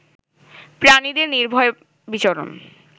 প্রাণীদের নির্ভয় বিচরণ